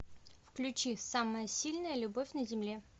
включи самая сильная любовь на земле